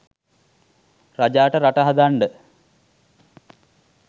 රජාට රට හදන්ඩ